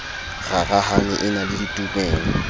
rarahane e na le ditumelo